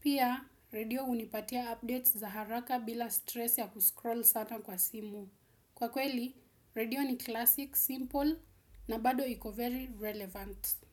Pia, redio hunipatia updates za haraka bila stress ya kuscroll sana kwa simu. Kwa kweli, redio ni classic, simple na bado iko very relevant.